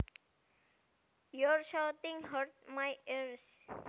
Your shouting hurts my ears